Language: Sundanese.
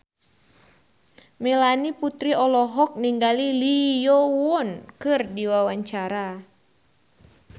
Melanie Putri olohok ningali Lee Yo Won keur diwawancara